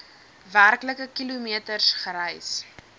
werklike kilometers gereis